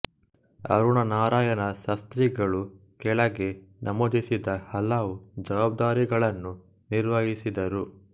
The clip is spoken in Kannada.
ಅರುಣ ನಾರಾಯಣ ಶಾಸ್ತ್ರಿಗಳು ಕೆಳಗೆ ನಮೂದಿಸಿದ ಹಲವು ಜವಾಬ್ದಾರಿಗಳನ್ನು ನಿರ್ವಹಿಸಿದರು